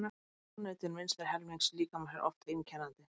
Afneitun vinstri helmings líkamans er oft einkennandi.